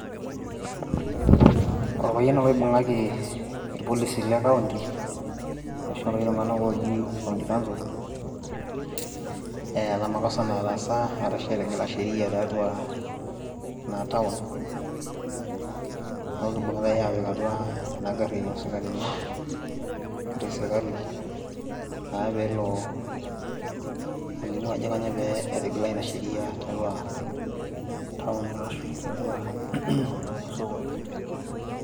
Orpayian ele oibung'aki irpolisi le ]county ashu ilosh tung'anak ooji county council eeta makosa nataasa ashu etigila sheria tiatua ina town, neeku kibung'itai aapik atua ena garri oosikarini engarri esirkali naa pee elo alimu ajo kainyioo pee etigila ina sheria tiatua town naa ashu tiatua osokoni.